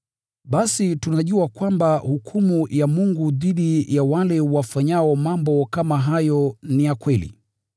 Basi tunajua kwamba hukumu ya Mungu dhidi ya wale wafanyao mambo kama hayo ni ya kweli.